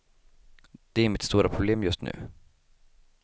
Det är mitt stora problem just nu.